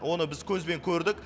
оны біз көзбен көрдік